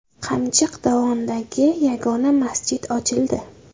Qamchiq dovonidagi yagona masjid ochildi.